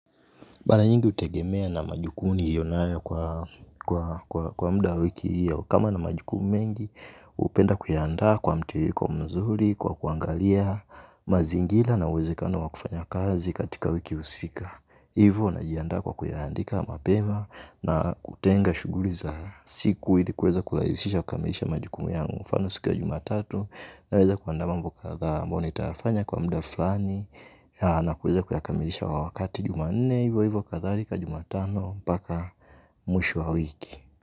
Mara nyingi hutegemea na majukumu niliyo nayo kwa muda wiki hiyo. Kama nina majukumu mengi, hupenda kuyandaa kwa mtiririko mzuri, kwa kuangalia mazingira na uwezekano wa kufanya kazi katika wiki husika. Hivyo, najiandaa kwa kuyaandika mapema na kutenga shughuli za siku ili kuweza kurahisisha kukamilisha majukumu yangu. Mfano siku ya jumatatu naweza kuandaa mambo kadhaa ambayo nitayafanya kwa muda fulani na kuweza kuyakamilisha wakati jumanne hivyo hivyo kadharika jumatano mpaka mwisho wa wiki.